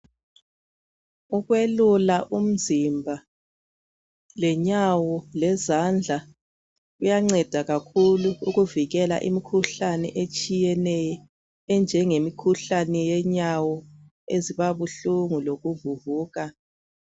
Ukwelula umzimba lenyawo lezandla kuyanceda kakhulu ukuvikela imikhuhlane etshiyeneyo enjengemikhuhlane yenyawo ezibuhlungu lokuvuvuka.